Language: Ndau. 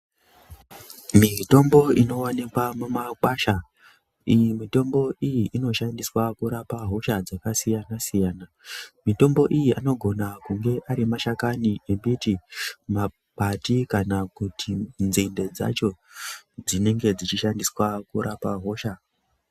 Mitombo inowanikwa mumakwasha . lyi mitombo iyi inoshandiswa kurapa hosha dzakasiyana siyana. Mitombo iyi anogona kunge ari mashakani embiti , makwati kana kuti nzinde dzacho dzinenge dzichishandiswa kurapa hosha.